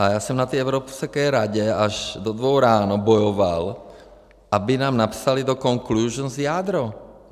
A já jsem na té Evropské radě až do dvou ráno bojoval, aby nám napsali do conclusions jádro.